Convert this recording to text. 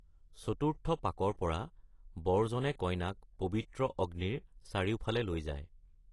চতুৰ্থ পাকৰ পৰা, বৰজনে কইনাক পবিত্ৰ অগ্নিৰ চাৰিওফালে লৈ যায়।